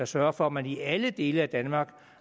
sørge for at man i alle dele af danmark